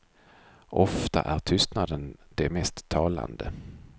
Ofta är tystnaden det mest talande.